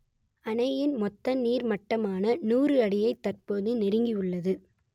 அணையின் மொத்த நீர்மட்டமான நூறு அடியை தற்போது நெருங்கியுள்ளது